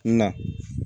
Na